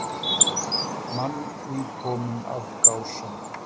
Mann nýkominn af Gásum.